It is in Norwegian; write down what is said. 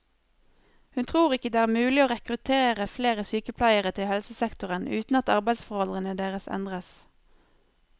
Hun tror ikke det er mulig å rekruttere flere sykepleiere til helsesektoren uten at arbeidsforholdene deres endres.